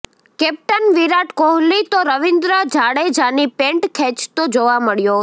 captain Virat Kohli તો રવિન્દ્ર જાડેજાની pant ખેંચતો જોવા મળ્યો છે